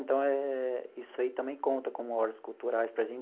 Então eh, isso aí também conta como horas culturais para a gente.